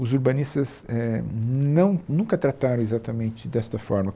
Os urbanistas éh não nunca trataram exatamente desta forma.